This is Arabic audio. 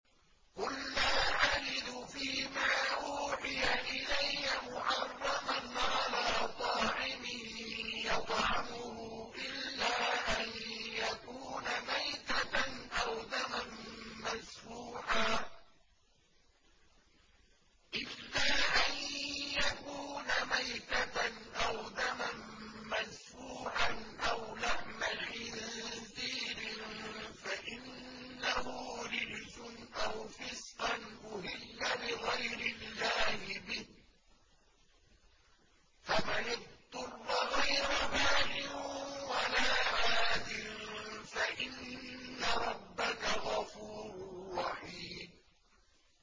قُل لَّا أَجِدُ فِي مَا أُوحِيَ إِلَيَّ مُحَرَّمًا عَلَىٰ طَاعِمٍ يَطْعَمُهُ إِلَّا أَن يَكُونَ مَيْتَةً أَوْ دَمًا مَّسْفُوحًا أَوْ لَحْمَ خِنزِيرٍ فَإِنَّهُ رِجْسٌ أَوْ فِسْقًا أُهِلَّ لِغَيْرِ اللَّهِ بِهِ ۚ فَمَنِ اضْطُرَّ غَيْرَ بَاغٍ وَلَا عَادٍ فَإِنَّ رَبَّكَ غَفُورٌ رَّحِيمٌ